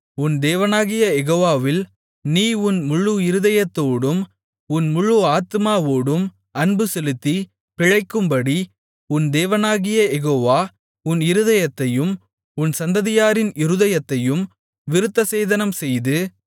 உன் தேவனாகிய யெகோவாவில் நீ உன் முழு இருதயத்தோடும் உன் முழு ஆத்துமாவோடும் அன்புசெலுத்தி பிழைக்கும்படி உன் தேவனாகிய யெகோவா உன் இருதயத்தையும் உன் சந்ததியாரின் இருதயத்தையும் விருத்தசேதனம்செய்து